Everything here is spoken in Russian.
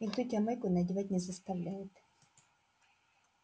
никто тебя майку надевать не заставляет